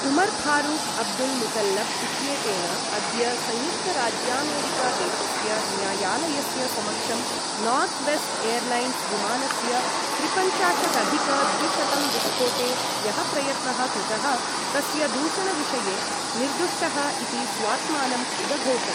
Omar Farouk Abdul Mutallab इत्येतेन अद्य संयुक्तराज्यामेरिकादेशस्य न्यायालयस्य समक्षं नार्थ्वेस्ट् एर्लैन्स् विमानस्य त्रिपञ्चाशदधिक द्विशतं विस्फोटे यः प्रयत्नः कृतः तस्य दूषण विषये 'निर्दुष्टः' इति स्वात्मानम् उदघोषत्।